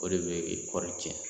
O de bɛ kɔɔri tiɲɛ